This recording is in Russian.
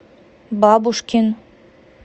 бабушкин